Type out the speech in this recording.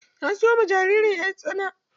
Na siyo ma jaririn 'yan tsana.